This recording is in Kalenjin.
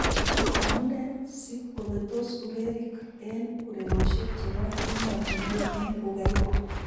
Amu nee si kobetos urerik eng urerioshek che bo emotinwek eng ughaibu?